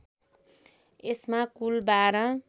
यसमा कुल १२